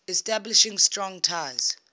establishing strong ties